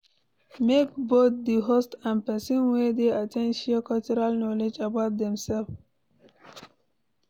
Make both the host and persin wey de at ten d share cultural knowledge about themselves